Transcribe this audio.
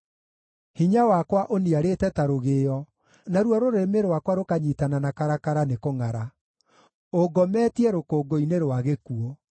Hinya wakwa ũniarĩte ta rũgĩo, naruo rũrĩmĩ rwakwa rũkanyiitana na karakara nĩkũngʼara; ũngometie rũkũngũ-inĩ rwa gĩkuũ.